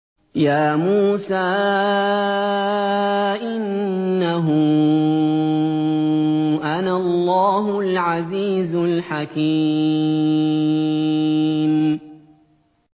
يَا مُوسَىٰ إِنَّهُ أَنَا اللَّهُ الْعَزِيزُ الْحَكِيمُ